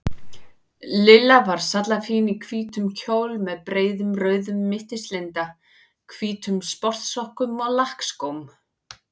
Lilla var sallafín í hvítum kjól með breiðum rauðum mittislinda, hvítum sportsokkum og lakkskóm.